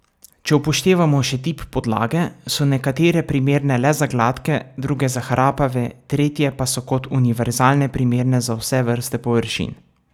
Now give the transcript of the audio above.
Če upoštevamo še tip podlage, so nekatere primerne le za gladke, druge za hrapave, tretje pa so kot univerzalne primerne za vse vrste površin.